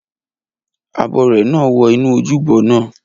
Abọrẹ̀ náà wọ inú ojúbọ naa